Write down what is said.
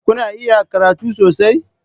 Kuna iya karatu sosai?